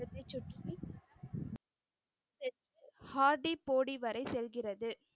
Hardy போடி வரை செல்கிறது.